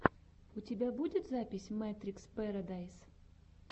у тебя будет запись мэтрикс пэрэдайс